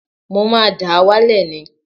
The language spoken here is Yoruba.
Mo máa dà á wálẹ̀ ni